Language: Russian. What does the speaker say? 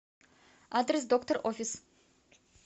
адрес доктор офис